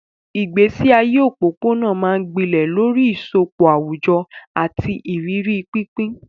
Ìgbésí ayé òpópónà máa ń gbilẹ̀ lórí ìsopọ̀ àwùjọ àti ìrírí pínpín.